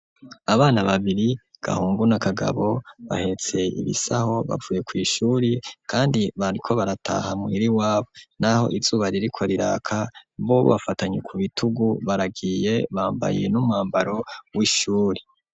abana babiri, Gahungu na Kagabo bahetse ibisaho bavuye kw,ishuri kandi bariko barataha muhira iwabo n'aho izuba ririko riraka bo bafatanye ku bitugu baragiye bambaye n'umwambaro w'ishuri.